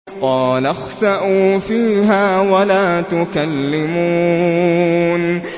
قَالَ اخْسَئُوا فِيهَا وَلَا تُكَلِّمُونِ